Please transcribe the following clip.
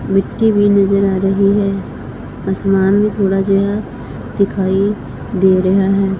ਮਿੱਟੀ ਵੀ ਨਜ਼ਰ ਆ ਰਹੀ ਹੈ ਅਸਮਾਨ ਵੀ ਥੋੜਾ ਜਿਹਾ ਦਿਖਾਈ ਦੇ ਰਿਹਾ ਹੈ।